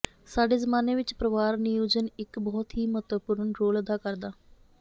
ਸਾਡੇ ਜ਼ਮਾਨੇ ਵਿਚ ਪਰਿਵਾਰ ਨਿਯੋਜਨ ਇੱਕ ਬਹੁਤ ਹੀ ਮਹੱਤਵਪੂਰਨ ਰੋਲ ਅਦਾ ਕਰਦਾ